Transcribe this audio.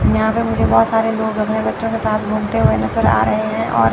यहां पर मुझे बहोत सारे लोग अपने बच्चों के साथ घूमते हुए नजर आ रहे हैं और--